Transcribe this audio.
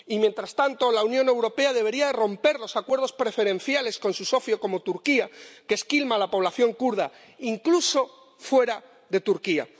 Y, mientras tanto, la Unión Europea debería romper los acuerdos preferenciales con su socio, como Turquía, que esquilma a la población kurda, incluso fuera de Turquía.